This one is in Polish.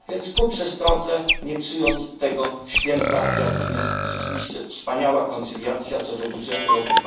Więc ku przestrodze, nie psując tego święta, jakim jest rzeczywiście wspaniała koncyliacja co do budżetu roku